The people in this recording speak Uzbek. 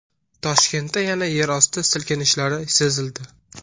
Toshkentda yana yerosti silkinishlari sezildi.